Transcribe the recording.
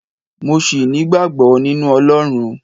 mo sì nigbagbo ninu Olorun